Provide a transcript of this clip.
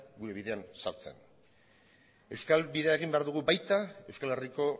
gure bidean sartzen euskal bidea egin behar dugu baita euskal herriko